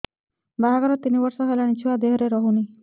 ବାହାଘର ତିନି ବର୍ଷ ହେଲାଣି ଛୁଆ ଦେହରେ ରହୁନି